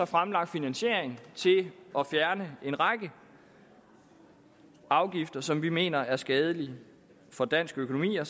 fremlagt finansiering til at fjerne en række afgifter som vi mener er skadelige for dansk økonomi og